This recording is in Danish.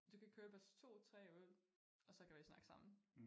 Du kan købe os 2 3 øl og så kan vi snakke sammen